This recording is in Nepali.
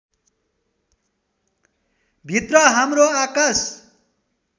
भित्र हाम्रो आकाश